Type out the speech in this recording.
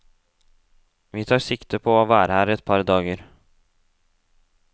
Vi tar sikte på å være her et par dager.